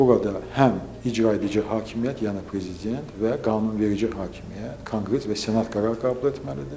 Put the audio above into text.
Bu qədər həm icraedici hakimiyyət, yəni prezident və qanunverici hakimiyyət, Konqres və Senat qərar qəbul etməlidir.